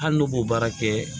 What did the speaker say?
Hali ne b'o baara kɛ